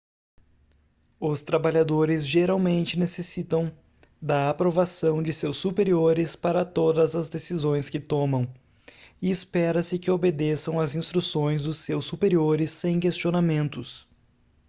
os trabalhadores geralmente necessitam da aprovação de seus superiores para todas as decisões que tomam e espera-se que obedeçam as instruções dos seus superiores sem questionamentos